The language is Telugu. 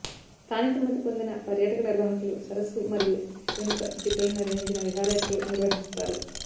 స్థానిక అనుమతి పొందిన పర్యాటక నిర్వాహకులు సరస్సు మరియు వెనుక జీప్లలో నిర్వహించిన విహారయాత్రలు నిర్వహిస్తారు